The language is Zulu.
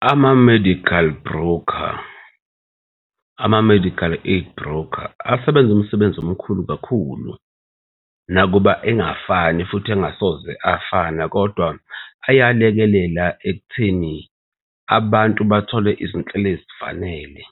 Ama-medical broker, ama-medical aid broker asebenzu msebenzi omkhulu kakhulu nakuba engafani futhi engasoze afana kodwa ayalekelela ekutheni abantu bathole izinhlelo ezifanele.